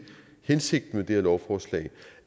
hensigten med det her lovforslag